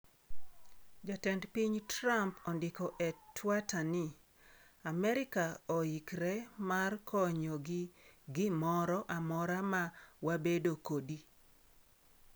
"Jatend piny Trump ondiko e twata ni: ""Amerika oikre mar konyo gi gimoro amora ma wabedo kodi."""